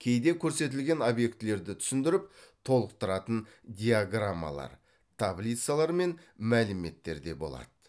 кейде көрсетілген объектілерді түсіндіріп толықтыратын диаграммалар таблицалар мен мәліметтер де болады